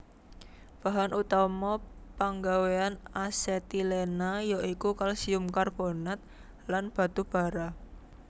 Bahan utama panggawéan asetilena ya iku kalsium karbonat lan batubara